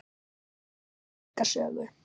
Húsið á sér merka sögu.